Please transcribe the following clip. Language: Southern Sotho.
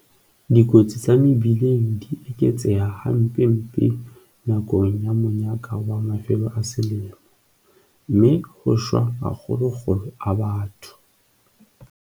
Dikotsi tsa mebileng di eketseha hampempe nakong ya monyaka wa mafelo a selemo, mme ho shwa ma kgolokgolo a batho.